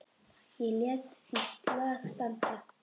Ég lét því slag standa.